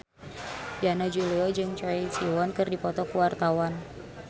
Yana Julio jeung Choi Siwon keur dipoto ku wartawan